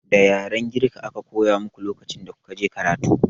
Da yaren girka aka koya muku lokacin da kuka je karatu?